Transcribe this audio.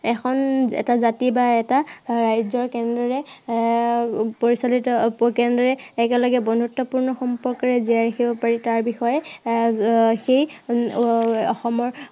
এখন, এটা জাতি বা এটা ৰাজ্য় কেনেদৰে আহ পৰিচালিত, কেনেদৰে একেলগে বন্ধুত্বপূৰ্ণ সম্পৰ্কেৰে জিয়াই ৰাখিব পাৰি তাৰ বিষয়ে আহ সেই এৰ অসমৰ